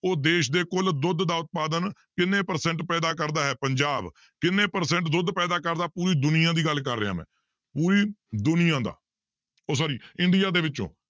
ਉਹ ਦੇਸ ਦੇ ਕੁੱਲ ਦੁੱਧ ਦਾ ਉਤਪਾਦਨ ਕਿੰਨੇ percent ਪੈਦਾ ਕਰਦਾ ਹੈ ਪੰਜਾਬ ਕਿੰਨੇ percent ਦੁੱਧ ਪੈਦਾ ਕਰਦਾ ਪੂਰੀ ਦੁਨੀਆਂ ਦੀ ਗੱਲ ਕਰ ਰਿਹਾਂ ਮੈਂ, ਪੂਰੀ ਦੁਨੀਆਂ ਦਾ ਉਹ sorry ਇੰਡੀਆ ਦੇ ਵਿੱਚੋਂ